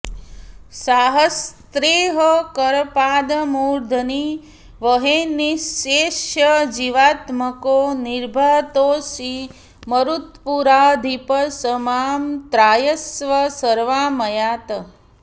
साहस्रैः करपादमूर्धनिवहैर्निश्शेषजीवात्मको निर्भातोऽसि मरुत्पुराधिप स मां त्रायस्व सर्वामयात्